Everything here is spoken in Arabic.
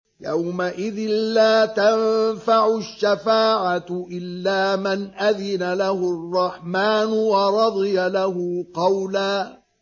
يَوْمَئِذٍ لَّا تَنفَعُ الشَّفَاعَةُ إِلَّا مَنْ أَذِنَ لَهُ الرَّحْمَٰنُ وَرَضِيَ لَهُ قَوْلًا